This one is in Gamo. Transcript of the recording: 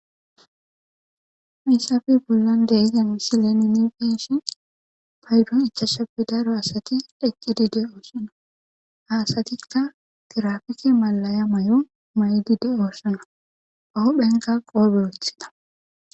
Misafe bollon deiza misileni migishi paydon ichashape daro asati dheqqidi de oossona haasatikka tirafike malaya may'o may'di de oossona paho phenka qoobe wothida.